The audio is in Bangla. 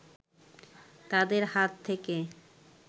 তাদের হাত থেকে